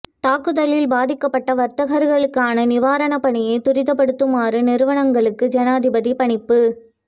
தாக்குதலில் பாதிக்கப்பட்ட வர்த்தகர்களுக்கான நிவாரணப் பணியை துரிதப்படுத்மாறு நிறுவனங்களுக்கு ஜனாதிபதி பணிப்பு